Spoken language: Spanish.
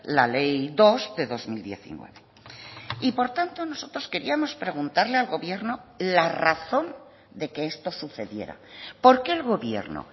la ley dos de dos mil diecinueve y por tanto nosotros queríamos preguntarle al gobierno la razón de que esto sucediera por qué el gobierno